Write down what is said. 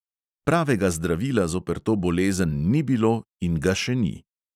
Pravega zdravila zoper to bolezen ni bilo in ga še ni.